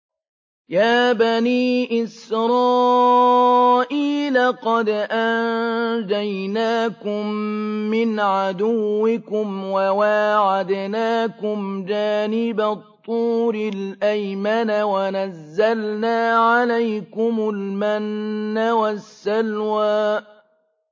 يَا بَنِي إِسْرَائِيلَ قَدْ أَنجَيْنَاكُم مِّنْ عَدُوِّكُمْ وَوَاعَدْنَاكُمْ جَانِبَ الطُّورِ الْأَيْمَنَ وَنَزَّلْنَا عَلَيْكُمُ الْمَنَّ وَالسَّلْوَىٰ